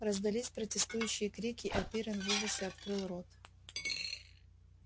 раздались протестующие крики а пиренн в ужасе открыл рот